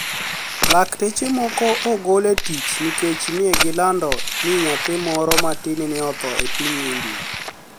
Lakteche moko ogol e tich niikech ni e gilanido nii niyathi moro matini ni e otho e piniy Inidia